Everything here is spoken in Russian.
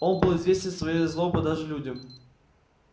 он был известен своей злобой даже людям